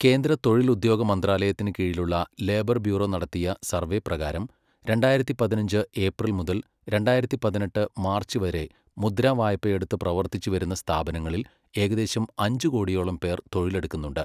കേന്ദ്ര തൊഴിൽ ഉദ്യോഗ മന്ത്രാലയത്തിന് കീഴിലുള്ള ലേബർ ബ്യൂറോ നടത്തിയ സർവ്വേ പ്രകാരം രണ്ടായിരത്തി പതിനഞ്ച് ഏപ്രിൽ മുതൽ , രണ്ടായിരത്തി പതിനെട്ട് മാർച്ച് വരെ മുദ്രാ വായ്പ എടുത്ത് പ്രവർത്തിച്ചു വരുന്ന സ്ഥാപനങ്ങളിൽ ഏകദേശം അഞ്ച് കോടിയോളം പേർ തൊഴിലെടുക്കുന്നുണ്ട്.